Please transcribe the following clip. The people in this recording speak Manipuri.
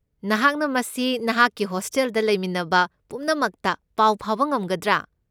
ꯅꯍꯥꯛꯅ ꯃꯁꯤ ꯅꯍꯥꯛꯀꯤ ꯍꯣꯁꯇꯦꯜꯗ ꯂꯩꯃꯤꯟꯅꯕ ꯄꯨꯝꯅꯃꯛꯇ ꯄꯥꯎ ꯐꯥꯎꯕ ꯉꯝꯒꯗ꯭ꯔꯥ?